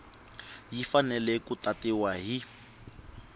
yi fanele ku tatiwa hi